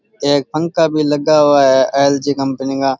एक पंखा भी लगा हुआ है एलजी कंपनी का।